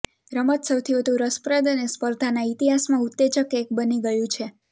રમત સૌથી વધુ રસપ્રદ અને સ્પર્ધાના ઇતિહાસમાં ઉત્તેજક એક બની ગયું છે